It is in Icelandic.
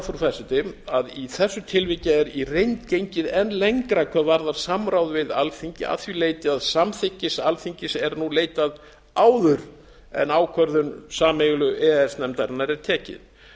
það frú forseti að í þessu tilviki er í reynd gengið enn lengra hvað varðar samráð við alþingi að því leyti að samþykkis alþingis er nú leitað áður en ákvörðun sameiginlegu e e s nefndarinnar er tekið